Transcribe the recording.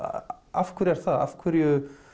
af hverju er það af hverju